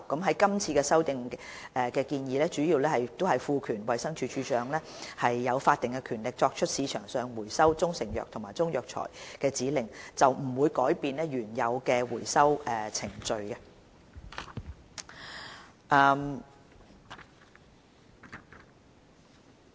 是次修訂建議主要旨在賦予衞生署署長法定權力，作出從市場收回中成藥或中藥材的指令，並不會改變原有的回收程序。